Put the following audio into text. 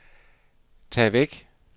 tag væk